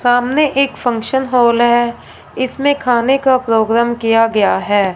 सामने एक function hall है इसमें खाने का प्रोग्राम किया गया है।